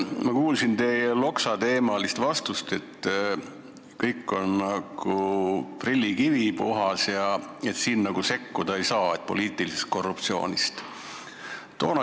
Ma kuulsin teie Loksa-teemalist vastust, et kõik on puhas nagu prillikivi ja nagu sekkuda ei saa, viidates poliitilisele korruptsioonile.